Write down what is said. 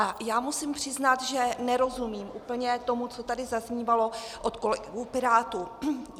A já musím přiznat, že nerozumím úplně tomu, co tady zaznívalo od kolegů Pirátů.